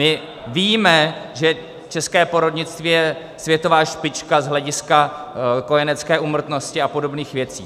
My víme, že české porodnictví je světová špička z hlediska kojenecké úmrtnosti a podobných věcí.